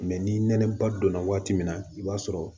Mɛ ni nɛnɛba donna waati min na i b'a sɔrɔ